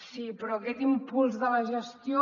sí però aquest impuls de la gestió